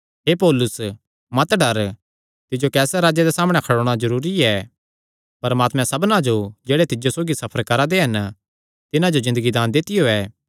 हे पौलुस मत डर तिज्जो कैसरे राजे सामणै खड़ोणा जरूरी ऐ परमात्मैं सबना जो जेह्ड़े तिज्जो सौगी सफर करा दे हन तिन्हां जो ज़िन्दगी दान दित्तियो ऐ